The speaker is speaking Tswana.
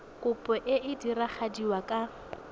kopo e e diragadiwa ka